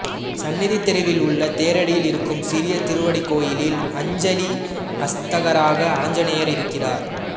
சந்நிதித் தெருவில் உள்ள தேரடியில் இருக்கும் சிறிய திருவடி கோயிலில் அஞ்சலி அஸ்தராக ஆஞ்சநேயர் இருக்கிறார்